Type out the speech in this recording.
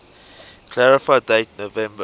clarify date november